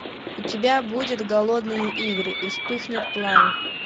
у тебя будет голодные игры и вспыхнет пламя